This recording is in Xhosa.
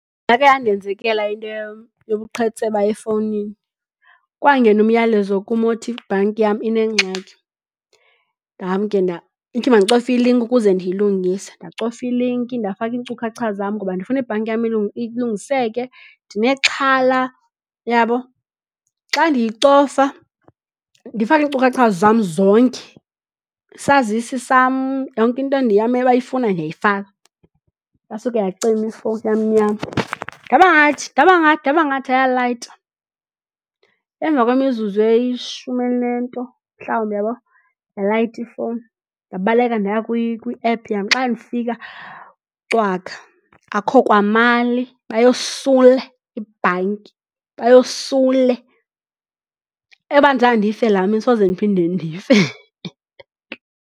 Yakhe yandenzekela into yobuqhetseba efowunini. Kwangena umyalezo kum othi ibhanki yam inengxaki. Nam ke ithi mandicofe ilinki ukuze ndiyilungise. Ndacofa ilinki ndafaka iinkcukacha zam ngoba ndifuna ibhanki yam ilungiseke ndinexhala, uyabo? Xa ndiyicofa, ndifake iinkcukacha zam zonke, isazisi sam, yonke into endiye yam abayifunayo ndiyayifaka. Yasuke yacima ifowuni yamnyama. Ngaba ndathi, ndaba ngathi, ndaba ngathi, ayalayita. Emva kwemizuzu elishumi elinento mhlawumbi, uyabo, yalayita ifowuni. Ndabaleka ndaya kwiephu yam. Xa ndifika, cwaka. Akho kwamali. Bayosule ibhanki, bayosule. Eyoba zange ndife ngala mini soze ndiphinde ndife.